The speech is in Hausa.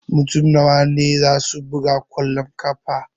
Mutum nawa ne zasu buga kwallon ƙafa?